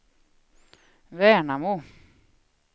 Värnamo